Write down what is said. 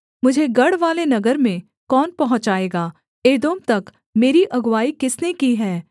मुझे गढ़वाले नगर में कौन पहुँचाएगा एदोम तक मेरी अगुआई किसने की हैं